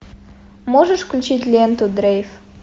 можешь включить ленту дрейв